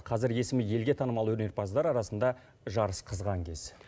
қазір есімі елге танымал өнерпаздар арасында жарыс қызған кез